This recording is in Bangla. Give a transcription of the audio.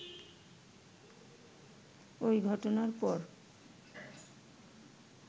ওই ঘটনার পর